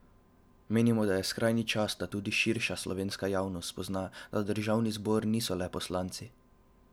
Menimo, da je skrajni čas, da tudi širša slovenska javnost spozna, da Državni zbor niso le poslanci.